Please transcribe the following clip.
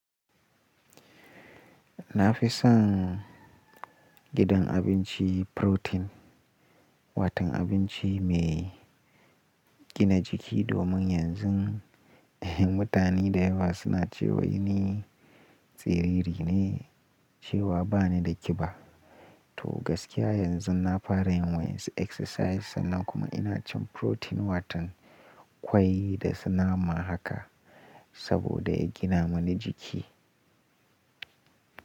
Na fi son idan abinci Protein, watan abinci mai gina jiki domin yanzun mutane dayawa suna ce way ni tsiriri ne cewa ba ni da kiba. To gaskiya yanzu na fara yin wani exercise sannan kuma ina cin protein watan kwai dasu nama haka saboda ya gina mani jiki.